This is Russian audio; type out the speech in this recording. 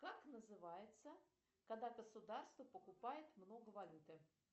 как называется когда государство покупает много валюты